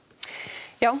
já